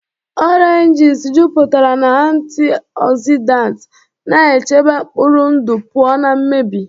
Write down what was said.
Oranges jupụtara na antioxidants, na-echebe mkpụrụ ndụ pụọ na mmebi.